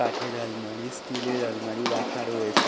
কাঠের আলমারি স্টিলের আলমারি রাখা রয়েছে।